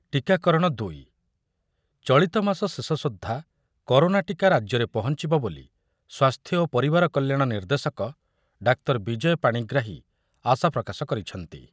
ଟୀକାକରଣ ଦୁଇ, ଚଳିତମାସ ଶେଷ ସୁଦ୍ଧା କରୋନା ଟିକା ରାଜ୍ୟରେ ପହଞ୍ଚିବ ବୋଲି ସ୍ୱାସ୍ଥ୍ୟ ଓ ପରିବାର କଲ୍ୟାଣ ନିର୍ଦ୍ଦେଶକ ଡାକ୍ତର ବିଜୟ ପାଣିଗ୍ରାହୀ ଆଶାପ୍ରକାଶ କରିଛନ୍ତି ।